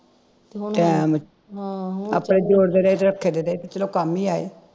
time ਆਪੇ ਜੋੜਦੇ ਰਹੇ ਤੇ ਚਲੋ ਕੰਮ ਹੀ ਆਏ